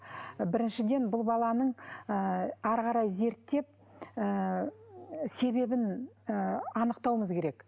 біріншіден бұл баланың ы әрі қарай зерттеп ы себебін ы анықтауымыз керек